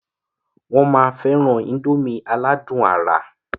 Wọn má féràn índòmí aládùn àrà.